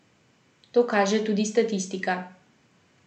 To kaže tudi statistika.